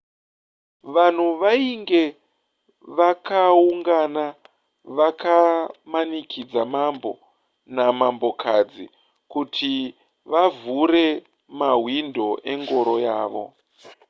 vanhu vainge vakaungana vakamanikidza mambo namambokadzi kuti vavhure mahwindo engoro yavo